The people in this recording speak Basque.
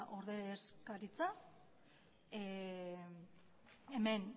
ordezkaritza hemen